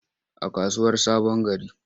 A kasuwar sabongari.